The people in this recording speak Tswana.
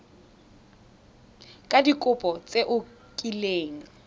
ka dikopo tse o kileng